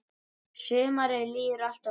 Sumarið líður alltof fljótt.